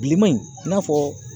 Bilenman in i n'a fɔ